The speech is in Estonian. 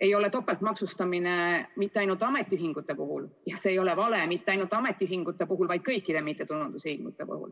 ei ole topeltmaksustamine mitte ainult ametiühingute puhul ja see ei ole vale mitte ainult ametiühingute puhul, vaid kõikide mittetulundusühingute puhul.